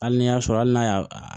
Hali n'i y'a sɔrɔ hali n'a y'a